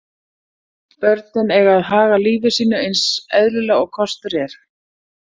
Börnin eiga að haga lífi sínu eins eðlilega og kostur er.